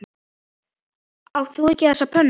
Átt þú ekki þessa pönnu?